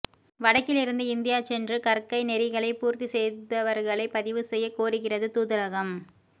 வடக்கிலிருந்து இந்தியா சென்று கற்கை நெறிகளை பூர்த்தி செய்தவர்களை பதிவு செய்யக் கோருகிறது தூதரகம்